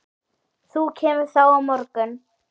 Þú kemur þá á morgun.